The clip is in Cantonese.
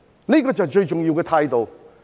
這就是最重要的態度。